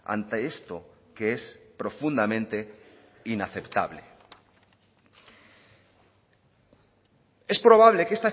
ante esto que es profundamente inaceptable es probable que